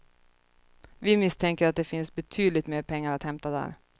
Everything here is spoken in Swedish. Vi misstänker att det finns betydligt mer pengar att hämta där.